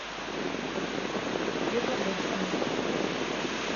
светлогорском